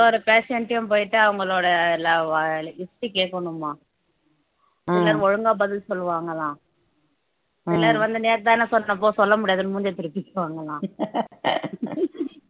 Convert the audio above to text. ஒரு ஒரு patient டயும் போயிட்டு அவங்களோட எல்லா list கேட்கணும்மா சிலர் ஒழுங்கா பதில் சொல்லுவாங்களாம் சிலர் வந்து நேத்துதானே சொன்னேன் போ சொல்ல முடியாதுன்னு மூஞ்சியை திருப்பிட்டு போவாங்கலாம்